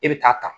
E bɛ taa ta